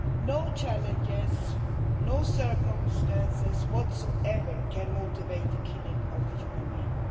No challenges, no circumstances whatsoever can motivate the killing of a human being.